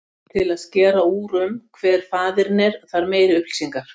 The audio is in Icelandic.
Til að skera úr um hver faðirinn er þarf meiri upplýsingar.